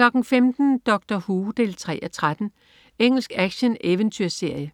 15.00 Doctor Who 3:13. Engelsk action-eventyrserie